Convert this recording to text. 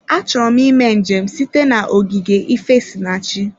Achọrọ m ịme njem site na ogige ifesinachi.